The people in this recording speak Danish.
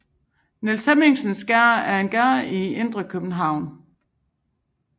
Niels Hemmingsens Gade er en gade i indre by i København